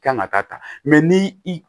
Kan ka taa ni i